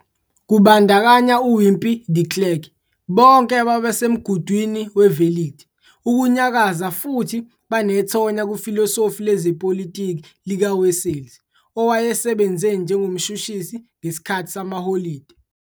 Kubandakanya uWimpie de Klerk bonke ababesemgudwini we-verligte ukunyakaza futhi banethonya kufilosofi lezepolitiki likaWessels owayesebenze njengomshushisi ngesikhathi samaholide